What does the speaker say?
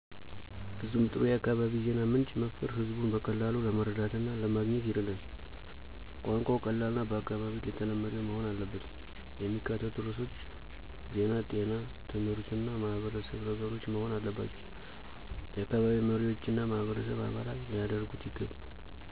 ፍጹም ጥሩ የአካባቢ ዜና ምንጭ መፍጠር ህዝቡን በቀላሉ ለመረዳት እና ለማገኘት ይረዳል። ቋንቋው ቀላልና በአካባቢው ተለመደ መሆን አለበት። የሚካተቱት ርዕሶች ዜና ጤና ትምህርት እና ማህበረሰብ ነገሮች መሆን አለባባቸው። የአካባቢ መሪዎችና ማህበረሰብ አባላት ሊያደርጉት ይገባል።